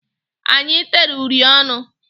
Anyị tere uri ọnụ.